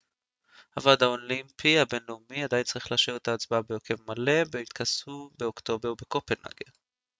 הוועד האולימפי הבינלאומי עדיין צריך לאשר את ההצבעה בהרכב מלא בהתכנסו באוקטובר בקופנהגן